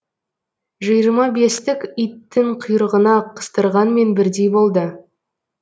жиырма бестік иттің құйрығына қыстырғанмен бірдей болды